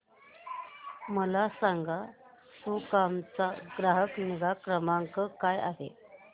मला सांगाना सुकाम चा ग्राहक निगा क्रमांक काय आहे